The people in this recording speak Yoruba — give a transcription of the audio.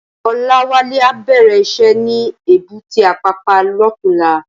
Olawale á bèrè iṣè ni ébùté Apapa lòtúnlá